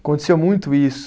Aconteceu muito isso.